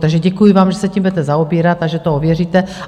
Takže děkuji vám, že se tím budete zaobírat a že to ověříte.